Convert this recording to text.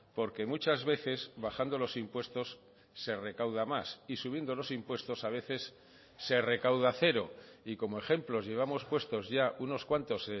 porque muchas veces bajando los impuestos se recauda más y subiendo los impuestos a veces se recauda cero y como ejemplos llevamos puestos ya unos cuantos